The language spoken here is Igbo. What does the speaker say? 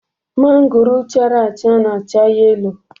Mangoro chara acha na-acha yelo